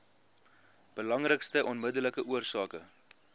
belangrikste onmiddellike oorsake